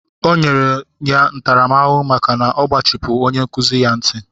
Enyere ya ntaramahụhụ maka igbachipu onye nkụzi ya nkịtị